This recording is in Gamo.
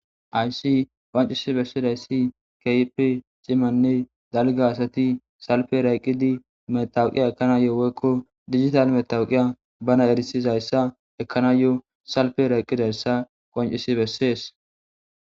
aysi qoncisi bessidayssi keypi cimanne dalga asati salpe rayqqidi metawuqiya ekana yo woykko digital metawuqiya bana erisizayssa ekkana yo salpe rayqqidayssa qoncisi bessees